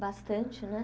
Bastante, né?